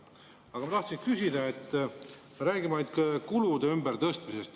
Ent ma tahtsin küsida selle kohta, et me räägime ainult kulude ümbertõstmisest.